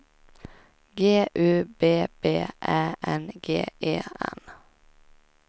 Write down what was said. G U B B Ä N G E N